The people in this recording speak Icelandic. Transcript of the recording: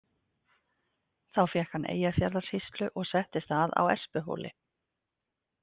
Þá fékk hann Eyjafjarðarsýslu og settist að á Espihóli.